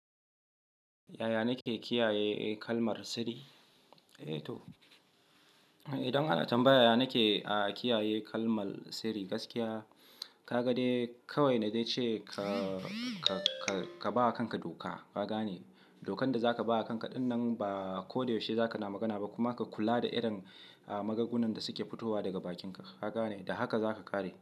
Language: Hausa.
Yaya nake kiyaye kalmar sirri? Eh to, idan ana tambayar yaya nake kiyaye kalmar sirri gaskiya, ka ga dai kawai na dai ce ka ba wa kanka doka. Ah kaga ne? Dokan da za ka ba a kanka ɗinnan ba ko da yaushe za ka na magana ba kuma ka kula da irin magungunan da suke fitowa daga bakinka. Kaga ne, da haka za ka ƙare.